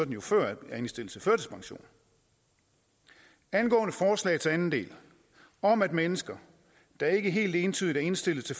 jo før er indstillet til førtidspension angående forslagets anden del om at mennesker der ikke helt entydigt er indstillet til